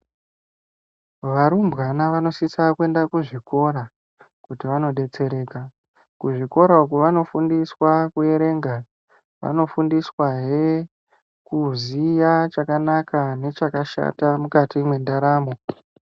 Varumbwana vanosisa kuenda kuzvikora kuti vanodetsereka kuzvikora uko vanofundiswa kuerenga , vanofundiswahe kuziya chakanaka nechakashata mukati mwendaramo.